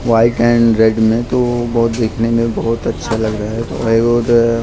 white and red में तो बहुत देखने में बहुत अच्छा लग रहा हैं और --